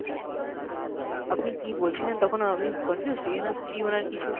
আপনি কী বলছিলেন তখন আমি confused ওনার কিছু।